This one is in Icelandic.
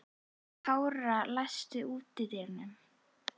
Kára, læstu útidyrunum.